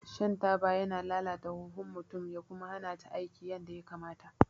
Shan taba yana lalata huhun mutum ya kuma hana ta aiki yadda ya kamata